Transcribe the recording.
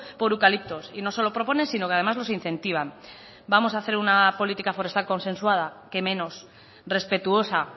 por eucaliptos y no solo propone sino que además los incentivan vamos a hacer una política forestal consensuada qué menos respetuosa